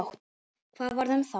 Hvað varð um þá?